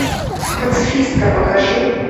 пацифистка покажи